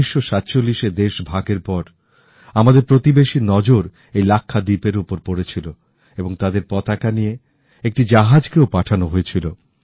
১৯৪৭ এ দেশভাগের পর আমাদের প্রতিবেশীর নজর এই লাক্ষাদ্বীপের ওপর পড়লো এবং তাদের পতাকা বহনকারী একটি জাহাজকেও পাঠানো হয়েছিল